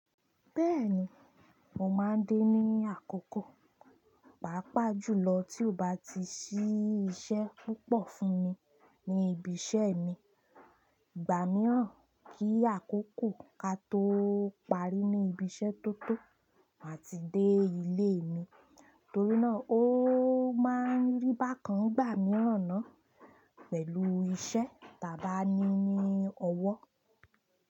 Bẹ́ẹ̀ni, mo máa ń dé ní àkókò, pàápàá jùlọ tí ó bá ti ṣí iṣẹ́ púpọ̀ fún mi ní ibi iṣẹ́ mi. Ìgbà mìíràn kí àkókò ka tó parí ní ibi iṣẹ́ tó tó máa ti dé ilé mi, torí náà ó máa ń rí bákan gbà mìíràn náà pẹ̀lú iṣẹ́ tàbí ní ọwọ́.